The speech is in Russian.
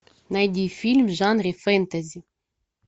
найди фильм в жанре фэнтези